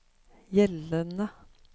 gjeldende